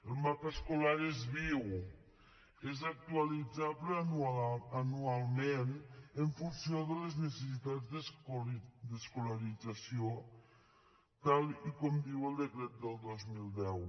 el mapa escolar és viu és actualitzable anualment en funció de les necessitats d’escolarització tal com diu el decret del dos mil deu